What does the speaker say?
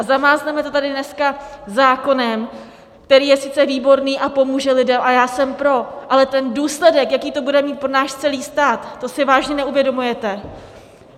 A zamázneme to tady dneska zákonem, který je sice výborný a pomůže lidem, a já jsem pro, ale ten důsledek, jaký to bude mít pro náš celý stát, to si vážně neuvědomujete?